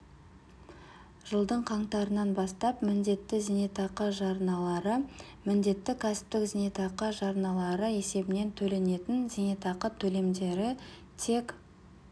жылдың қаңтарынан бастап міндетті зейнетақы жарналары міндетті кәсіптік зейнетақы жарналары есебінен төленетін зейнетақы төлемдері тек